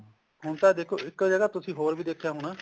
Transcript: ਹੁਣ ਤਾਂ ਦੇਖੋ ਇੱਕ ਜਗ੍ਹਾ ਤੁਸੀਂ ਹੋਰ ਵੀ ਦੇਖਿਆ ਹੋਣਾ